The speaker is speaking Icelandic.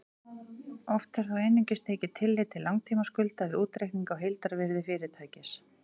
Oft er þó einungis tekið tillit til langtímaskulda við útreikning á heildarvirði fyrirtækis.